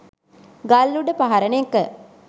ගල් උඩ පහරන එක